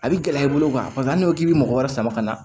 A bɛ gɛlɛya i bolo paseke n'i ko k'i bɛ mɔgɔ wɛrɛ sama ka na